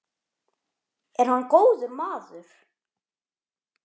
Er hann góður maður?